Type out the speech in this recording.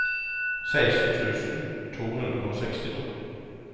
seksten tusen to hundre og sekstito